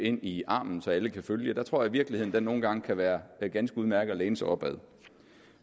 ind i armen så alle kan følge os tror jeg virkeligheden nogle gange kan være ganske udmærket at læne sig op ad